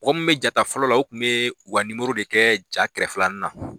Mɔgɔ min be ja ta fɔlɔ la , u kun be u ka de kɛ ja kɛrɛfɛlanii na.